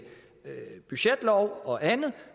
budgetlov og andet